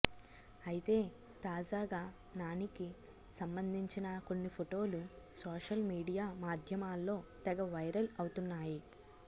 అయితే తాజాగా నానికి సంబంధించిన కొన్ని ఫోటోలు సోషల్ మీడియా మాధ్యమాల్లో తెగ వైరల్ అవుతున్నాయి